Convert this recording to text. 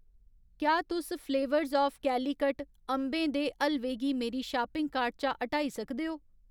क्या तुस flavours of Calicut अंबें दे हलवे गी मेरी शापिंग कार्ट चा हटाई सकदे ओ